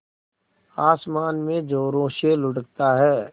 आसमान में ज़ोरों से लुढ़कता है